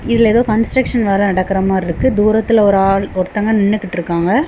இதுல ஏதோ கன்ஸ்டிரக்க்ஷன் வேல நடக்குற மாரி இருக்கு. தூரத்துல ஒரு ஆள் ஒருத்தங்க நின்னுகிட்ருக்காங்க.